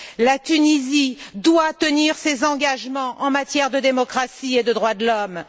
La Tunisie doit tenir ses engagements en matière de démocratie et de droits de l'homme.